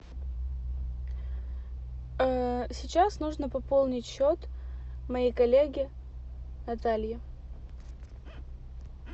сейчас нужно пополнить счет моей коллеге наталье